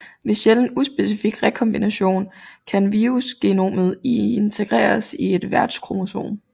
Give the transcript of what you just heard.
Ved sjælden uspecifik rekombination kan virusgenomet integreres i et værtskromosom